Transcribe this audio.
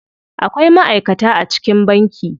Akwai ma'aikata a cikin banki.